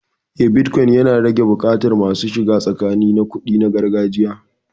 Eh, bitcoin yana rage buƙatar masu shiga tsakani na kuɗi na gargajiya.